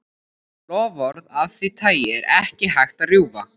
Loforð af því tagi er ekki hægt að rjúfa.